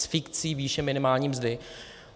S fikcí výše minimální mzdy.